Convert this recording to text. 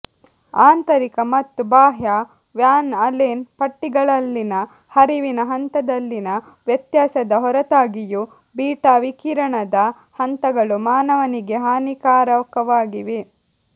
ಆಂತರಿಕ ಮತ್ತು ಬಾಹ್ಯ ವ್ಯಾನ್ ಅಲೆನ್ ಪಟ್ಟಿಗಳಲ್ಲಿನ ಹರಿವಿನ ಹಂತದಲ್ಲಿನ ವ್ಯತ್ಯಾಸದ ಹೊರತಾಗಿಯೂ ಬೀಟಾ ವಿಕಿರಣದ ಹಂತಗಳು ಮಾನವನಿಗೆ ಹಾನಿಕಾರಕವಾಗಿವೆ